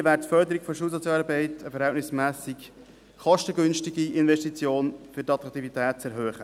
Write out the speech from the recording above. Hier wäre die Förderung der Schulsozialarbeit eine verhältnismässig kostengünstige Investition, um die Attraktivität zu erhöhen.